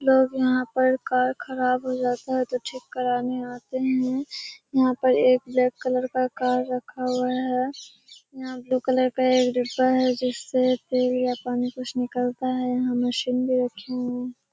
लोग यहाँ पर कार खराब हो जाता है तो ठीक कराने आते हैं। यहाँ पर एक ब्लैक कलर का कार रखा हुआ है। यहाँ ब्‍लू कलर का एक डिब्‍बा है जिससे तेल या पानी कुछ निकलता है। यहाँ मशीन भी रखीं हुई --